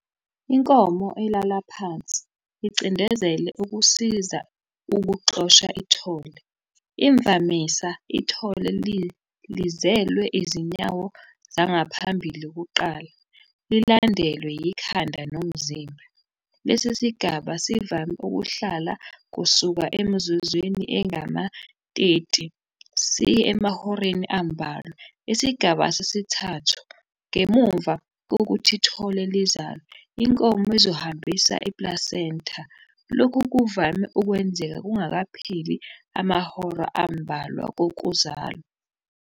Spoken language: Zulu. Inkomo ilala phansi icindezela ukusiza ukuxosha ithole. Imvamisa ithole lizelwe izinyawo zangaphambili kuqala, lilandelwe yikhanda nomzimba. Lesi sigaba sivame ukuhlala kusuka emizuzwini engamateti siye emahoreni ambalwa. Isigaba sesithathu, ngemuva kokuthi ithole lizalwe, inkomo izohambisa i-placenta. Lokhu kuvame ukwenzeka kungakapheli amahora ambalwa kokuzalwa.